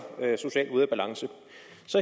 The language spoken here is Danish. socialt ude af balance